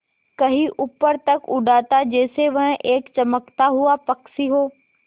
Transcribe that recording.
कहीं ऊपर तक उड़ाता जैसे वह एक चमकता हुआ पक्षी हो